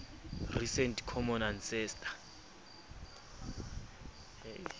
recent common ancestor